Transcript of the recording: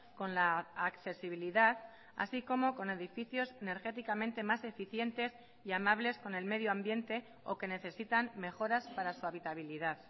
con la accesibilidad así como con edificios energéticamente más eficientes y amables con el medio ambiente o que necesitan mejoras para su habitabilidad